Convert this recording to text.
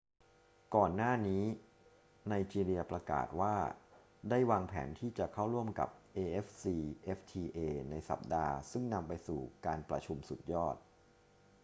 ก่อนหน้านี้ไนจีเรียประกาศว่าได้วางแผนที่จะเข้าร่วมกับ afcfta ในสัปดาห์ซึ่งนำไปสู่การประชุมสุดยอด